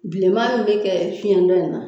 Bilenma min bɛ kɛ fiyɛn dɔ in na